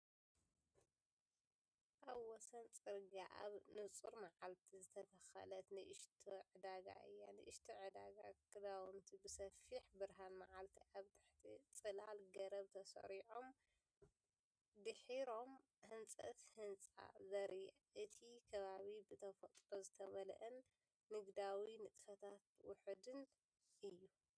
ኣብ ወሰን ጽርግያ ኣብ ንጹር መዓልቲ ዝተተኽለት ንእሽቶ ዕዳጋ እያ። ንእሽቶ ዕዳጋ፡ ክዳውንቲ ብሰፊሕ ብርሃን መዓልቲ ኣብ ትሕቲ ጽላል ገረብ ተሰሪዖም፡ ድሒሮም ህንጸት ህንጻ ዘርኢ። እቲ ከባቢ ብተፈጥሮ ዝተመልአን ንግዳዊ ንጥፈታት ውሑድን እዩ።